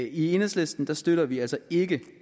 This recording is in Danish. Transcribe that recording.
i enhedslisten støtter vi altså ikke